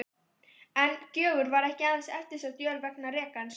En Gjögur var ekki aðeins eftirsótt jörð vegna rekans.